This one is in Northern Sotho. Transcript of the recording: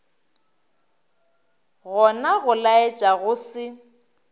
gona go laetša go se